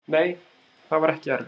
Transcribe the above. Nei, það var ekki erfitt.